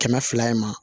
Kɛmɛ fila in ma